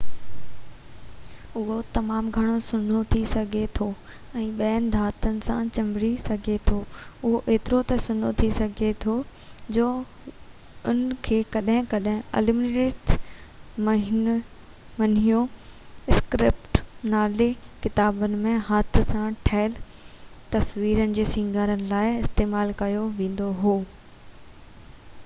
اهو تمام گهڻوسنهو ٿي سگهي ٿو ۽ ٻين ڌاتن سان چِنڀڙي سگهي ٿو اهو ايترو ته سنهو ٿي سگهي ٿي جو ان کي ڪڏهن ڪڏهن اليومنيٽيڊ مينيو اسڪرپٽ نالي ڪتابن ۾ هٿ سان ٺهيل تصويرن کي سينگارڻ لاءِ استعمال ڪيو ويندو هو